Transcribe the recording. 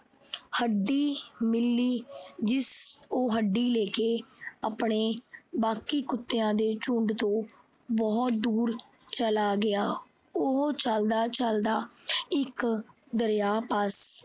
ਹੱਡੀ ਮਿਲੀ। ਉਹ ਹੱਡੀ ਲੈ ਕੇ ਆਪਣੇ ਬਾਕੀ ਕੁੱਤਿਆਂ ਦੇ ਝੁੰਡ ਤੋਂ ਬਹੁਤ ਦੂਰ ਚਲਾ ਗਿਆ। ਉਹ ਚੱਲਦਾ ਚੱਲਦਾ ਇਕ ਦਰਿਆ ਪਾਸ